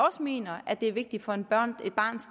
også mener er vigtige for et barns